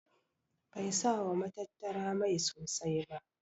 Bai sa wa matattara mai sosai ba.